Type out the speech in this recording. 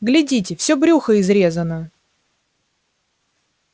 глядите все брюхо изрезано